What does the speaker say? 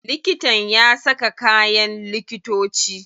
Likitan ya saka kayan likitoci?